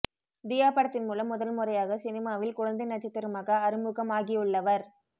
தியா படத்தின் மூலம் முதல் முறையாக சினிமாவில் குழந்தை நட்சத்திரமாக அறிமுகமாகியுள்ளவர்